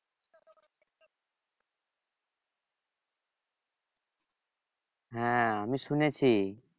হ্যাঁ আমি শুনেছি